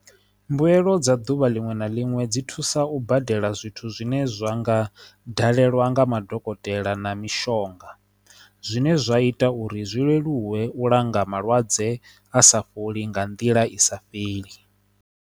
Mbuelo dza duvha linwe na linwe dzi thusa u badela zwithu zwine zwa nga dalelwa nga madokotela na mishonga zwine zwa ita uri zwi leluwe u langa malwadze a sa fholi nga nḓila i sa fheli.